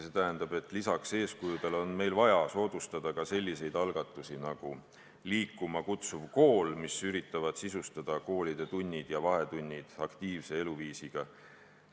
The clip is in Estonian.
See tähendab, et lisaks eeskujudele on meil vaja soodustada ka selliseid algatusi nagu "Liikuma kutsuv kool", mis üritavad sisustada tunnid ja vahetunnid aktiivse liikumisega.